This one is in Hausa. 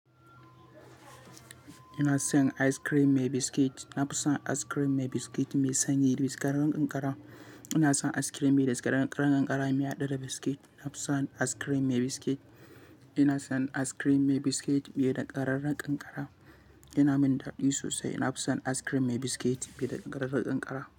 Ina son ice cream mai biscuit. Na fi son ice cream mai biscuit mai sanyi da biscuit ɗin ƙanƙara. Ina son ice cream mai dasƙararan ƙanƙara mai haɗe da biscuit. Na fi son ice cream mai biscuit. Ina son ice cream mai biscuit mai danƙararen ƙanƙara. Yana min daɗi sosai. Na fi son ice cream mai biscuit mai da ƙarar ƙanƙara.